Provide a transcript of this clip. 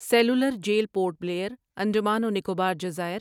cellular jail Port Blair, Andaman و نکوبار جزائر